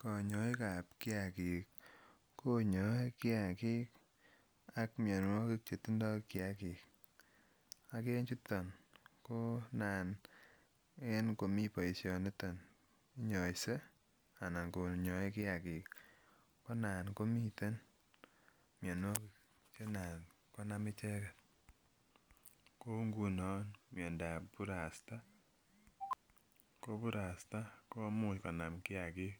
Konyoikab kiakik konyoe kiakik qk minuokik chetindo kiakik ak en chuton konan en komi boishoniton inyoise anan konyoe kiakik konan komiten mionuokik chenan konam icheket kou nguno miondab burasta, ko burasta komuch konam kiakik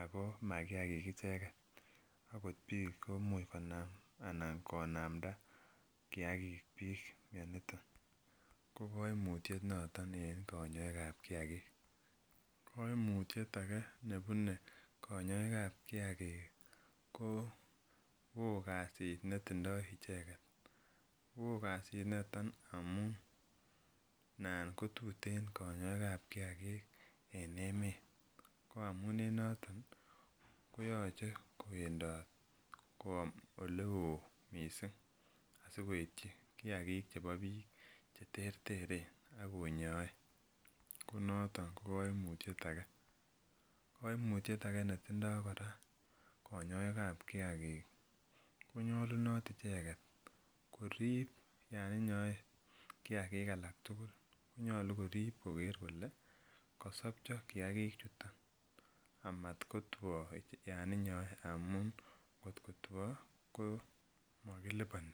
ako makiakik icheken okot bik komuch konam anan konamda kiakik bik, mioniton kokoimutyet noton en konyoikab kiakik, koimutyet ake nebune konyoikab kiakik kowo kasit netindo icheket, wo kasinoton amun anan kotuten konyoikab kiakik en emet ko amun en noton koyoche koendot koom olewo missing' asikoityi kiakik chebo bik cheterteren ak konyoe, ngunon noton kokoimutyet ake koraa, koimutyet ake koraa netindo konyoikab kiakik konyolunot icheket korib yon inyoe kiakik alak tugul nyolu korib koker koke kosopcho kiakichoton amot koteo yon inyoe amun kot koteo komokiliboni.